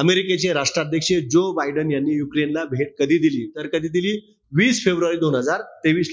इमारिकेचे राष्ट्राध्यक्ष Joe Biden यांनी युक्रेनला भेट कधी दिली. तर कधी दिली? वीस फेब्रुवारी दोन हजार तेवीस